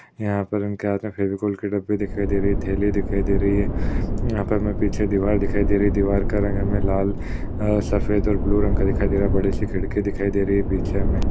यहाँ पर फेविकोल के डब्बे दिखाई दे रही है थैली दिखाई दे रही है। यहाँ पर हमे पीछे दीवार दिखाई दे रही है। दीवार का रंग हमे लाल अ सफेद और ब्लू रंग का दिखाई दे रहा है। बड़ी सी खिड़की दिखाई दे रही है पीछे हमें।